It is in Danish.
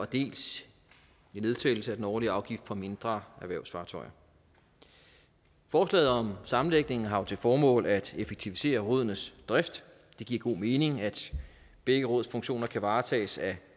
dels en nedsættelse af den årlige afgift for mindre erhvervsfartøjer forslaget om sammenlægningen har til formål at effektivisere rådenes drift det giver god mening at begge råds funktioner kan varetages af